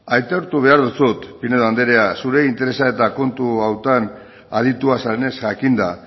aitortu behar dizut zure interesa eta kontu honetan aditua zarenez jakinda